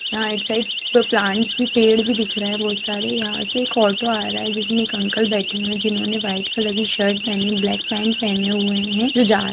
यहाँ right side पे plants पेड़ भी दिख रहे हैं बहुत सारे यहाँ से एक ऑटो आ रहा है जिसमें एक अंकल बैठे हुए हैं जिन्होंने व्हाइट कलर की शर्ट पहनी ब्लैक पैंट पहने हुए हैं जो जा --